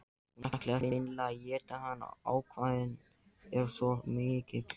Hún ætlar hreinlega að éta hann, ákafinn er svo mikill.